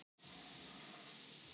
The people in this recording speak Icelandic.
Nesbrú